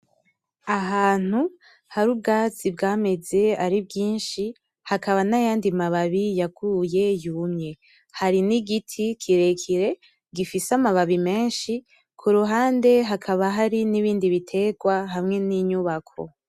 Ahantu hari ubwatsi bwameze ari bwinshi, hakaba n'ayandi mababi yaguye yumye. Hari nigiti kirekire gifise amababi menshi kuruhande hakaba hari n'ibindi biterwa hamwe ninyubako .